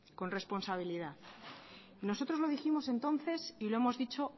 con responsabilidad nosotros lo dijimos entonces y lo hemos dicho